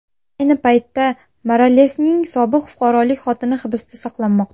Ayni paytda Moralesning sobiq fuqarolik xotini hibsda saqlanmoqda.